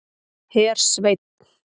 Hersveinn